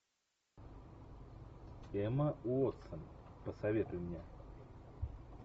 эмма уотсон посоветуй мне